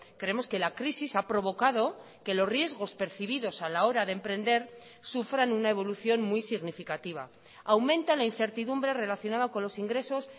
creemos que la crisis ha provocado que los riesgos percibidos a la hora de emprender sufran una evolución muy significativa aumenta la incertidumbre relacionada con los ingresos